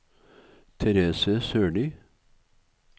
Therese Sørlie